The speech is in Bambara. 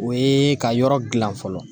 O ye ka yɔrɔ dilan fɔlɔ